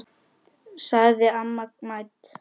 sagði amma mædd.